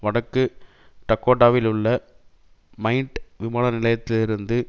வடக்கு டகோடாவிலுள்ள மைட் விமான நிலையத்திலிருந்து